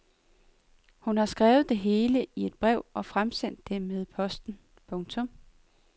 Hun har skrevet det hele ned i et brev og fremsendt det med posten. punktum